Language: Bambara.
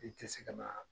I tɛ se ka na